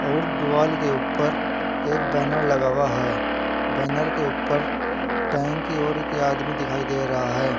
और द्वाल के ऊपर एक बैनर लगा हुआ है बैनर के ऊपर टैंक की ओर एक आदमी दिखाई दे रहा है।